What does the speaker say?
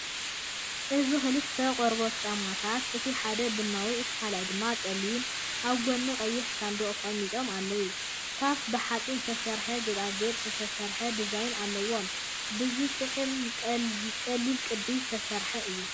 እዚ ክልተ ቆርበት ጫማታት፡ እቲ ሓደ ቡናዊ፡ እቲ ካልኣይ ድማ ጸሊም፡ ኣብ ጎኒ ቀይሕ ሳንዱቕ ተቐሚጦም ኣለው። ካብ ብሓጺን ዝተሰርሐ ጌጣጌጥ ዝተሰርሐ ዲዛይን ኣለዎም፡ ብዝጥዕምን ቀሊልን ቅዲ ዝተሰርሐ እዩ።